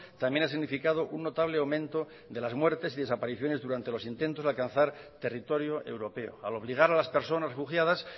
también ha significado un notable aumento de las muertes y desapariciones durante los intentos de alcanzar territorio europeo al obligar a las personas refugiadas